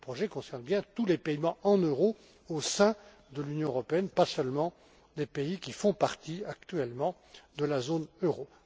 euro. Ce projet concerne bien tous les paiements en euros au sein de l'Union européenne, pas seulement les pays qui font partie actuellement de la zone